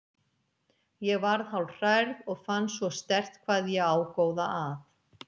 Ég varð hálf hrærð og fann svo sterkt hvað ég á góða að.